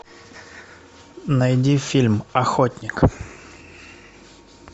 найди фильм охотник